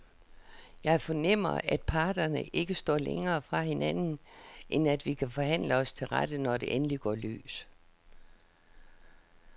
Jeg fornemmer, at parterne ikke står længere fra hinanden, end at vi kan forhandle os til rette, når det endelig går løs.